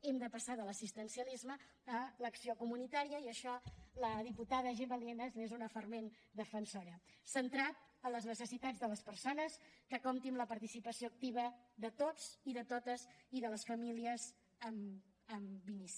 hem de passar de l’assistencialisme a l’acció comunitària i d’això la diputada gemma lienas n’és una fervent defensora centrada en les necessitats de les persones que compti amb la participació activa de tots i de totes i de les famílies en l’inici